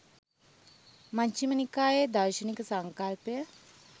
මජ්ඣිම නිකායේ දාර්ශනික සංකල්පය